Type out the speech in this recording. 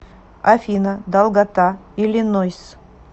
афина долгота иллинойс